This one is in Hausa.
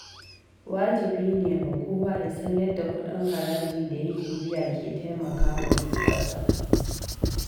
Wajibi ne ga kowa ya san yadda kudin haraji da yake biya ke taimaka wa kasa.